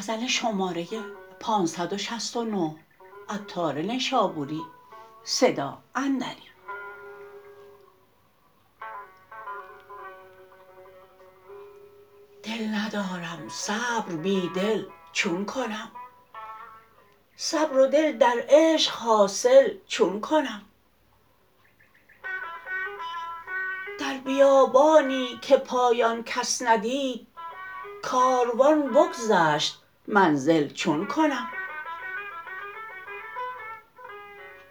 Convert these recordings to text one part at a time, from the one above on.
دل ندارم صبر بی دل چون کنم صبر و دل در عشق حاصل چون کنم در بیابانی که پایان کس ندید کاروان بگذشت منزل چون کنم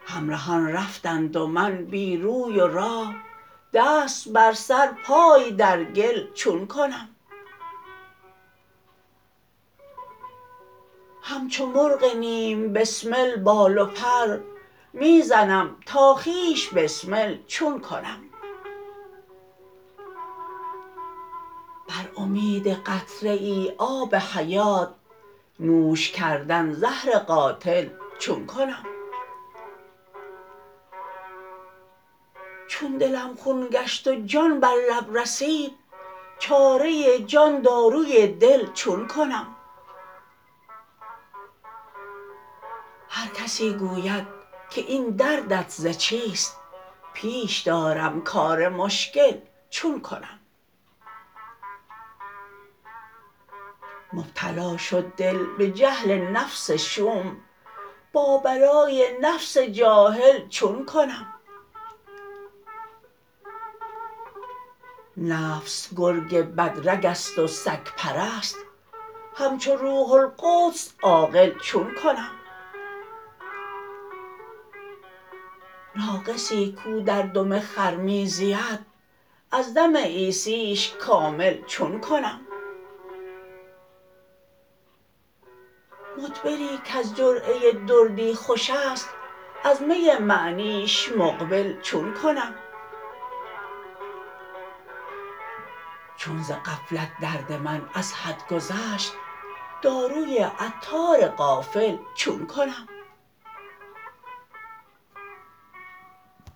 همرهان رفتند و من بی روی و راه دست بر سر پای در گل چون کنم همچو مرغ نیم بسمل بال و پر می زنم تا خویش بسمل چون کنم بر امید قطره ای آب حیات نوش کردن زهر قاتل چون کنم چون دلم خون گشت و جان بر لب رسید چاره جان داروی دل چون کنم هر کسی گوید که این دردت ز چیست پیش دارم کار مشکل چون کنم مبتلا شد دل به جهل نفس شوم با بلای نفس جاهل چون کنم نفس گرگ بد رگ است و سگ پرست همچو روح القدس عاقل چون کنم ناقصی کو در دم خر می زید از دم عیسیش کامل چون کنم مدبری کز جرعه دردی خوش است از می معنیش مقبل چون کنم چون ز غفلت درد من از حد گذشت داروی عطار غافل چون کنم